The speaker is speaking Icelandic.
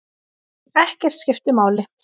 Ekkert skiptir máli.